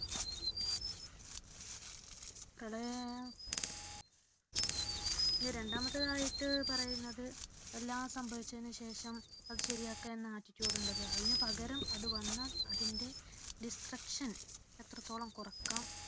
പ്രളയം ഇനി രണ്ടാമത്തേതായിട്ടു പറയുന്നത് എല്ലാം സംഭവിച്ചതിനു ശേഷം അത് ശരിയാക്കാം എന്ന attitude ഉണ്ടല്ലോ അതിനു പകരം അത് വന്നാൽ അതിന്റെ destruction എത്രത്തോളം കുറയ്ക്കാം